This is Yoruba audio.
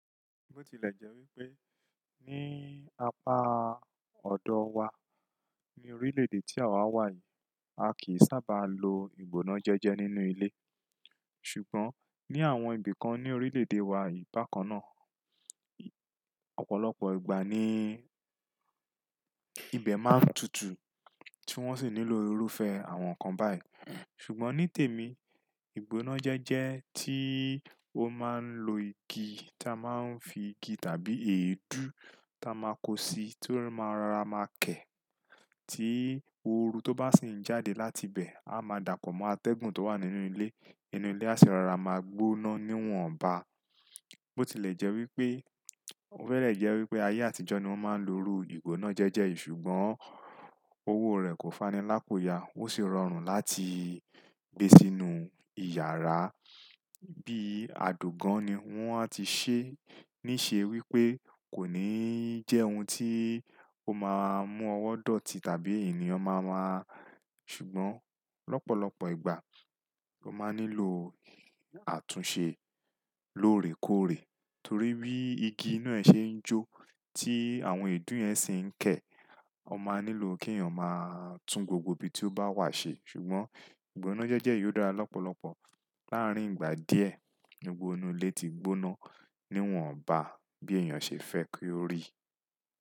Bó ti lè jẹ́ wípé ní apá ọ̀dọ wa, ní orílè èdè tí àwa wà yìí, a kìí sábà lo ìgbóná jẹ́jẹ́ nínú ilé. Ṣùgbọ́n ní àwọn ibi kan ní orílè-èdè wa bakan náà, ọ̀pọ̀lọpọ̀ ìgbà ni ibẹ̀ máa ń tutù, tí wọ́n sì nílò irúfẹ́ àwọn nǹkan báyìí. Ṣùgbọ́n ní tèmi, ìgbóná jẹ́jẹ́ tí ó máa ń lo igi tí a máa ń fi igi tàbí èédú tí a máa kó si tó máa ra ma kẹ́, tí òru tó bá sì ń jáde láti bẹ̀, a máa dapo mọ́ atẹ́gùn tó wà nínú ilé, inú ilé a sì rárá máa gbóná níwọ̀nba. Ó ti lè jẹ́ wípé, ó fẹ́rẹ̀ jẹ́ wípé ayé àtijọ́ ni wọ́n máa ń lo irú ìgbóná jẹ́jẹ́ yìí, ṣùgbọ́n owó rẹ̀ kò fani lápò ya, ó sì rọrùn láti gbé sínú ìyàrá bí i ado gan-an ni. Wọ́n á ti ṣe ní ṣe wípé kò ní jẹ́ ohun tí ó máa mú ọwọ́ dọ̀tí tàbí ènìyàn máa máa ṣùgbọ́n lọ́pọ̀lọpọ̀ ìgbà, o máa nílò àtúnṣe lóòrèkóòrè torí bí igi inú ẹ ṣe ń jó tí àwọn èédú yẹn sì ń kẹ́, o máa nílò kí èèyàn máa tún gbogbo ibi tí ó bá wà ṣe. Ṣùgbọ́n ìgbóná jẹ́jẹ́ yìí ó dára lọ́pọ̀lọpọ̀. Láàárín ìgbà díẹ̀, gbogbo inú ilé ti gbóná, níwọ̀nba bí èèyàn ṣe fẹ́ kí ó rí.